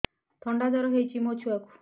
ଥଣ୍ଡା ଜର ହେଇଚି ମୋ ଛୁଆକୁ